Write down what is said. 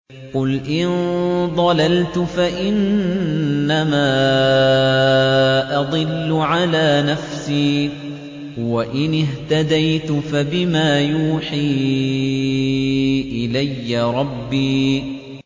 قُلْ جَاءَ الْحَقُّ وَمَا يُبْدِئُ الْبَاطِلُ وَمَا يُعِيدُ